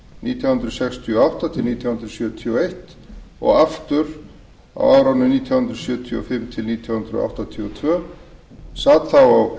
nítján hundruð sextíu og átta til nítján hundruð sjötíu og eins og aftur nítján hundruð sjötíu og fimm til nítján hundruð